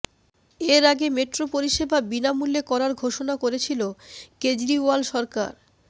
এর আগে মেট্রো পরিষেবা বিনামুল্যে করার ঘোষণা করেছিল কেজরিওয়াল সরকার